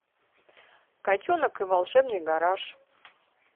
котенок и волшебный гараж